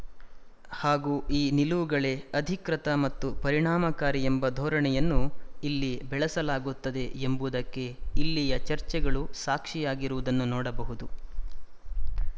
ಹಾಗೂ ಈ ನಿಲುವುಗಳೇ ಅಧಿಕೃತ ಮತ್ತು ಪರಿಣಾಮಕಾರಿ ಎಂಬ ಧೋರಣೆಯನ್ನು ಇಲ್ಲಿ ಬೆಳಸಲಾಗುತ್ತದೆ ಎಂಬುದಕ್ಕೆ ಇಲ್ಲಿಯ ಚರ್ಚೆಗಳು ಸಾಕ್ಶಿಯಾಗಿರುವುದನ್ನು ನೋಡಬಹುದು